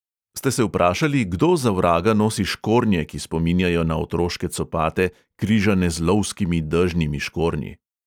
Ste se vprašali, kdo za vraga nosi škornje, ki spominjajo na otroške copate, križane z lovskimi dežnimi škornji?